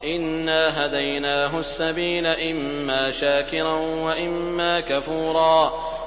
إِنَّا هَدَيْنَاهُ السَّبِيلَ إِمَّا شَاكِرًا وَإِمَّا كَفُورًا